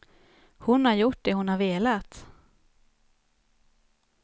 Hon har gjort det hon har velat.